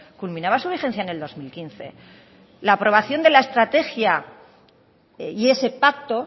culminaba su vigencia en el dos mil quince la aprobación de la estrategia y ese pacto